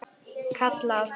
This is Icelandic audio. Kalla aftur.